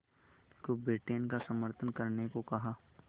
को ब्रिटेन का समर्थन करने को कहा